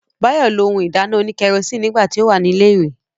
Báyọ̀ lo ohun ìdáná òní kẹrosíìnì nígbà tí ó wà ní ilẹ̀ ìwé